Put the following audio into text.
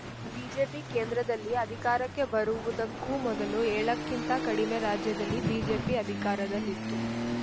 BJP ಕೇಂದ್ರದಲ್ಲಿ ಅಧಿಕಾರಕ್ಕೆ ಬರುವುದಕ್ಕೂ ಮೊದಲು ಏಳಕ್ಕಿಂತಾ ಕಡಿಮೆ ರಾಜ್ಯದಲ್ಲಿ ಬಿಜೆಪಿ ಅಧಿಕಾರದಲ್ಲಿತ್ತು